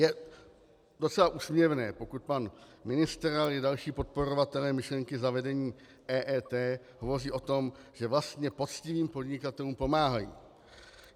Je docela úsměvné, pokud pan ministr, ale i další podporovatelé myšlenky zavedení EET hovoří o tom, že vlastně poctivým podnikatelům pomáhají.